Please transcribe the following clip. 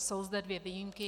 Jsou zde dvě výjimky.